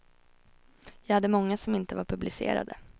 Jag hade många som inte var publicerade.